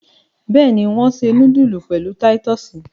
Bẹ́ẹ̀ni, wọ́n se núdúlù pẹ̀lú títọ́sì.